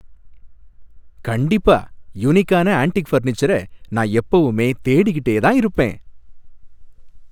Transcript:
கண்டிப்பா! யுனிக்கான ஆன்ட்டிக் ஃபர்னிச்சர நான் எப்பவுமே தேடிக்கிட்டே தான் இருப்பேன்.